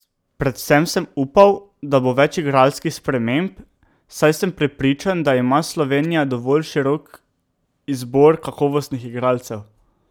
Predvsem sem upal, da bo več igralskih sprememb, saj sem prepričan, da ima Slovenija dovolj širok izbor kakovostnih igralcev.